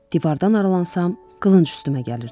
Divardan aralansam, qılınc üstümə gəlirdi.